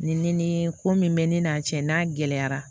Ni ni ko min bɛ ne n'a cɛ n'a gɛlɛyara